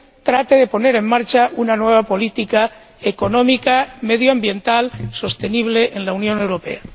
Trate de poner en marcha una nueva política económica, medioambiental, sostenible en la Unión Europea.